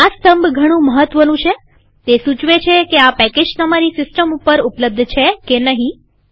આ સ્તંભ ઘણું મહત્વનું છેતે સૂચવે છે કે આ પેકેજ તમારી સિસ્ટમ ઉપર ઉપલબ્ધ છે કે નહીં